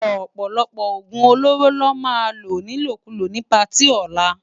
Òpòlòpò ógún ólóró lò má ló nilókúló ni páti òlá